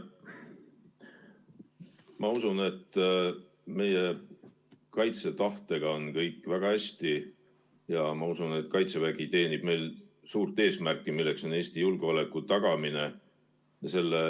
Ma usun, et meie kaitsetahtega on kõik väga hästi, ja ma usun, et kaitsevägi teenib suurt eesmärki, mis on Eesti julgeoleku tagamine.